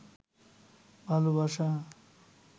ভালোবাসা